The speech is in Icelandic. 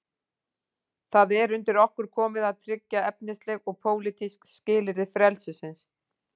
Það er undir okkur komið að tryggja efnisleg og pólitísk skilyrði frelsisins.